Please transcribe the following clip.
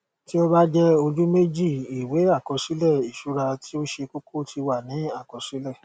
tí ó bá jẹ ojú méjììwé àkọsílẹ ìṣura tí ó ṣe kókó ti wà ní àkọsílẹ